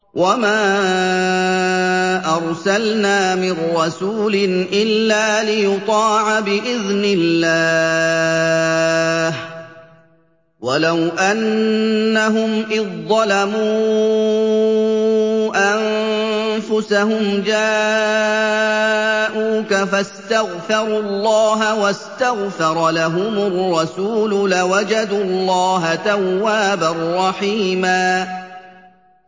وَمَا أَرْسَلْنَا مِن رَّسُولٍ إِلَّا لِيُطَاعَ بِإِذْنِ اللَّهِ ۚ وَلَوْ أَنَّهُمْ إِذ ظَّلَمُوا أَنفُسَهُمْ جَاءُوكَ فَاسْتَغْفَرُوا اللَّهَ وَاسْتَغْفَرَ لَهُمُ الرَّسُولُ لَوَجَدُوا اللَّهَ تَوَّابًا رَّحِيمًا